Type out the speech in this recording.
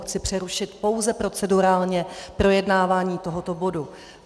Chci přerušit pouze procedurálně projednávání tohoto bodu.